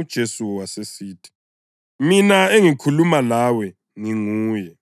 UJesu wasesithi, “Mina engikhuluma lawe nginguye.”